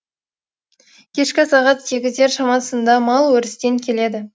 кешкі сағат сегіздер шамасында мал өрістен келеді